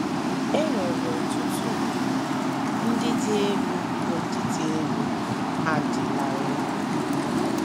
E nwere ọtụtụ ugwu ndị dị elu bụ́ ndị elu ha dị larịị.